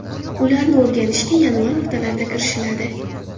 Ularni o‘rganishga yanvar o‘rtalarida kirishiladi.